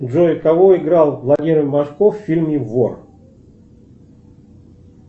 джой кого играл владимир машков в фильме вор